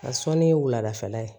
A sɔnni wulafɛla ye